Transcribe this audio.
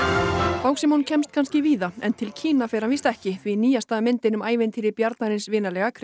Bangsímon kemst kannski víða en til Kína fer hann víst ekki því nýjasta myndin um ævintýri bjarnarins vinalega